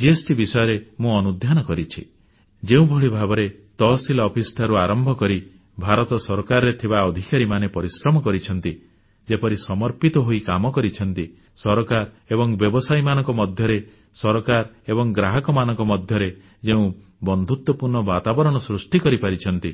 GST ବିଷୟରେ ମୁଁ ଅନୁଧ୍ୟାନ କରିଛି ଯେଉଁଭଳି ଭାବରେ ତହସିଲ ଅଫିସଠାରୁ ଆରମ୍ଭ କରି ଭାରତ ସରକାରରେ ଥିବା ଅଧିକାରୀମାନେ ପରିଶ୍ରମ କରିଛନ୍ତି ଯେପରି ସମର୍ପିତ ହୋଇ କାମ କରିଛନ୍ତି ସରକାର ଏବଂ ବ୍ୟବସାୟୀମାନଙ୍କ ମଧ୍ୟରେ ସରକାର ଏବଂ ଗ୍ରାହକମାନଙ୍କ ମଧ୍ୟରେ ଯେଉଁ ବନ୍ଧୁତ୍ୱପୂର୍ଣ୍ଣ ବାତାବରଣ ସୃଷ୍ଟି କରିପାରିଛନ୍ତି